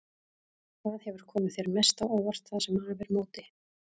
Hvað hefur komið þér mest á óvart það sem af er móti?